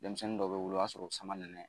Denmisɛnnin dɔ bɛ wolo o y'a sɔrɔ o samanɛnɛ